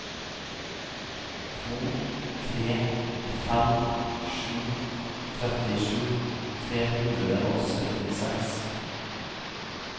to tre fem sju trettisju tre hundre og syttiseks